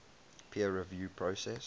peer review process